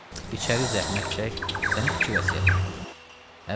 Bəy, içəri zəhmət çək, sənin iki vəsiyyətin var.